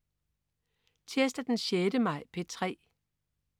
Tirsdag den 6. maj - P3: